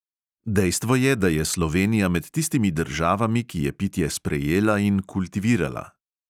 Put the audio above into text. Dejstvo je, da je slovenija med tistimi državami, ki je pitje sprejela in kultivirala.